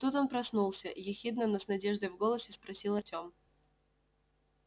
тут он проснулся ехидно но с надеждой в голосе спросил артём